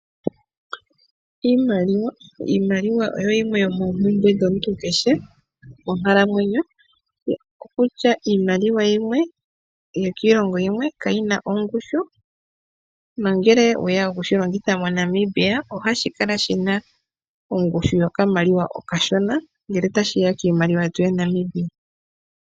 Iimaliwa oyo yimwe yomoompumbwe dhomuntu keshe monkalamwenyo. Okutya iimaliwa yimwe yokiilongo yimwe ka yina ongushu nongele oweya oku shi longitha moNamibia ,ohashi kala shina ongushu yokamaliwa okashona ngele ta shi ya kiimaliwa yetu ya Namibia.